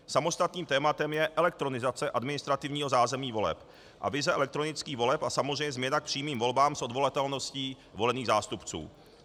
Samostatným tématem je elektronizace administrativního zázemí voleb a vize elektronických voleb a samozřejmě změna k přímým volbám s odvolatelností volených zástupců.